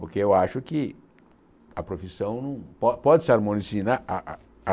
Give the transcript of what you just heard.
Porque eu acho que a profissão po pode se harmonisinar ha ha ha